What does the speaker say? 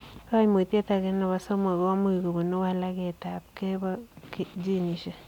Kaimutiet agee nepoo somok komuch kobunuu walaket ap kei poo ginisiek.